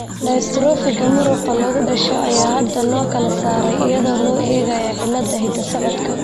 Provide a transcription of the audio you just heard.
Dystrophiga muruqa lagu dhasho ayaa hadda loo kala saaray iyadoo loo eegayo cilladaha hidda-socodka.